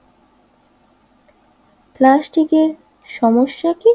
প্লাস্টিকের সমস্যা কি